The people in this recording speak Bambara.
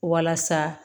Walasa